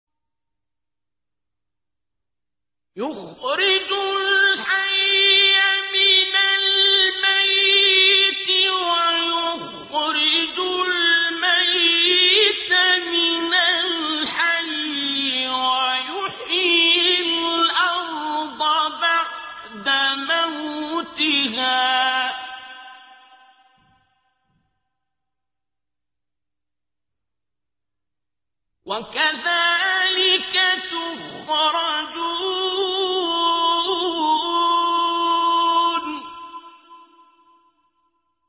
يُخْرِجُ الْحَيَّ مِنَ الْمَيِّتِ وَيُخْرِجُ الْمَيِّتَ مِنَ الْحَيِّ وَيُحْيِي الْأَرْضَ بَعْدَ مَوْتِهَا ۚ وَكَذَٰلِكَ تُخْرَجُونَ